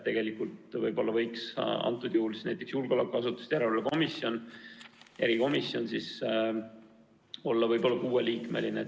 Tegelikult võiks praegusel juhul näiteks julgeolekuasutuste järelevalve erikomisjon olla kuueliikmeline.